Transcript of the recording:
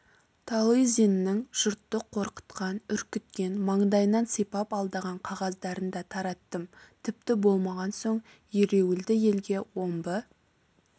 талызинның жұртты қорқытқан үркіткен маңдайынан сипап алдаған қағаздарын да тараттым тіпті болмаған соң ереуілді елге омбы